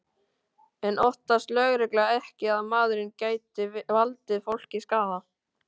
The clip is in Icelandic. En óttast lögregla ekki að maðurinn geti valdið fólki skaða?